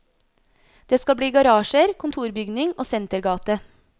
Det skal bli garasjer, kontorbygning og sentergate.